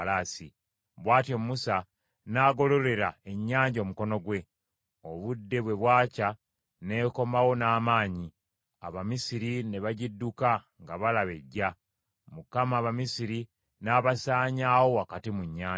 Bw’atyo Musa n’agololera ennyanja omukono gwe, obudde bwe bwakya n’ekomawo n’amaanyi, Abamisiri ne bagidduka nga balaba ejja; Mukama , Abamisiri n’abasaanyaawo wakati mu nnyanja.